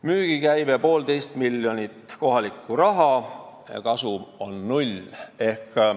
Müügikäive on 1,5 miljonit kohalikku raha ja kasum on null.